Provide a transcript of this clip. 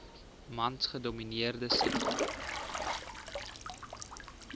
mans gedomineerde sektor